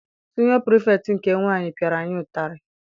Siniọ pirifektị nke nwaanyị piara anyị ụtarị.